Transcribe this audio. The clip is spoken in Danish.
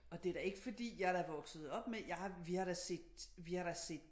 Og det er da ikke fordi jeg er da vokset op med jeg har da vi har da set vi har da set